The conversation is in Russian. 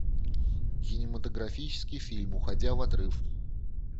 кинематографический фильм уходя в отрыв